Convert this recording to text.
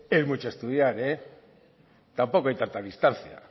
es mucho estudiar tampoco hay tanta distancia